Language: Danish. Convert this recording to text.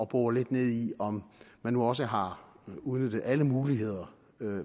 bore lidt ned i om man nu også har udnyttet alle muligheder